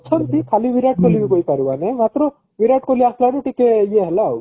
ଅଛନ୍ତି ଖାଲି ବିରାଟ କୋହଲି ବି କହି ପାରିବନି ମାତ୍ର ବିରାଟ କୋହଲି ଆସିବାରୁ ଟିକେ ଇଏ ହେଲା ଆଉ